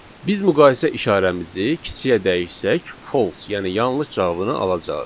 Biz müqayisə işarəmizi kiçiyə dəyişsək, false, yəni yanlış cavabını alacağıq.